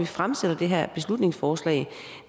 fremsat det her beslutningsforslag